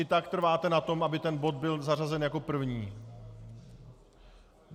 I tak trváte na tom, aby ten bod byl zařazen jako první?